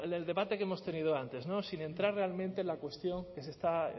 el debate que hemos tenido antes sin entrar realmente en la cuestión que se está